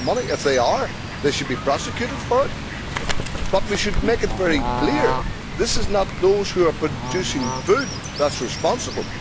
If they are, they should be prosecuted for it. But we should make it very clear that it is not those who are producing food that are responsible.